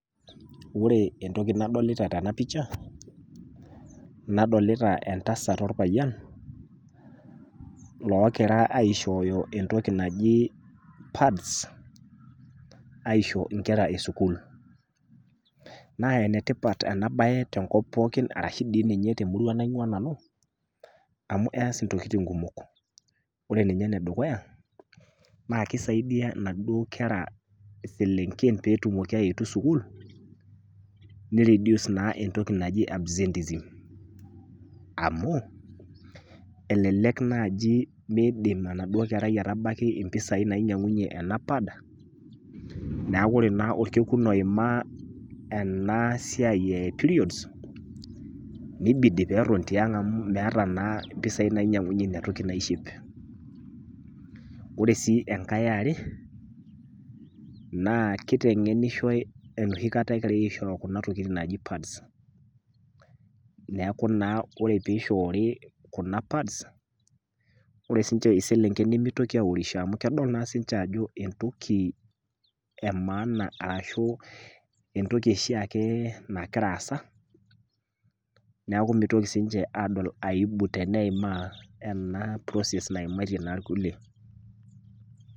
Ore entoki nadolita tena pisha, nadolita entasat ilpayian, loogira aishooyo entoki naji pads aisho inkera e sukuul. Naa enetipat ena bae tenkop pooki arashu dei ninye temurua natii nanu, amu eas intokitin kumok, ore ena dukuya naa keisaidia naduo kera selenken pee etum aetu sukuul, neiredus naa entoki naji absenteeism amu, elelek naaji meidim enaduo kerai aitabaiki isentei nainyang'uni ena pad, neaku Kore naapa olkekun oima ena siai e periods neibidi naa peeton tiang' amu meata naa isentei nainyang'unye nena tokitin. Ore sii enkai e are naa keiteng'enishoi enooshi kata egira aishooyo kuna tokitin naji pads neaku naa ore pee eishoori Kuna tokitin naji pads ore sii ninche iselenken nemeitoki aureisho amu kedol naa sininche ajo entoki e maana ashu entoki oshiake nagira aata, neaku meitoki sii ninche adol aibu amu edol anaa process naimaa intangilen.